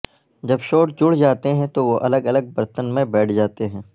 جب شوٹ جڑ جاتے ہیں تو وہ الگ الگ برتن میں بیٹھ جاتے ہیں